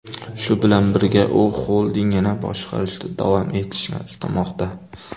Shu bilan birga, u xoldingini boshqarishda davom etishni istamoqda.